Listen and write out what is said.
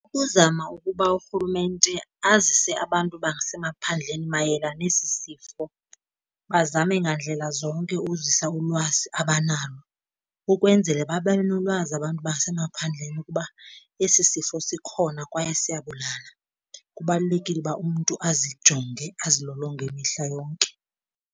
Ukuzama ukuba urhulumente azise abantu basemaphandleni mayela nesi sifo, bazame ngandlela zonke uzisa ulwazi abanalo, ukwenzele babe nolwazi abantu basemaphandleni ukuba esi sifo sikhona kwaye siyabulala kubalulekile uba umntu azijonge azilolonge mihla yonke.